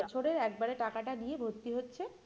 পুরো বছরের একবারে টাকাটা নিয়ে ভর্তি হচ্ছে